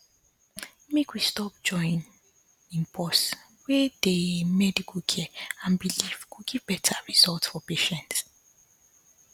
make we stop joinin pause wey dey medical care and belief go give beta result for patients